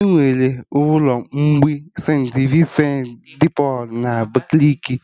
Enwere ụlọ mgbei St.Vincent dị Pọlụ na Abakaliki